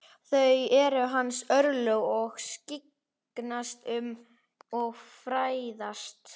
Það eru hans örlög að skyggnast um og fræðast.